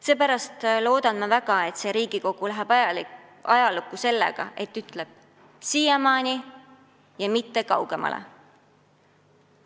Ma väga loodan, et see Riigikogu läheb ajalukku sellega, et ütleb: "Siiamaani, ja mitte kaugemale!"